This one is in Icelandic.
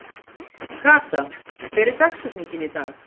Kata, hver er dagsetningin í dag?